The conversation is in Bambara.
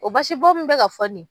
O basibɔn min bɛ ka fɔ ni ye